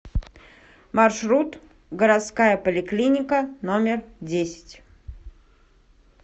маршрут городская поликлиника номер десять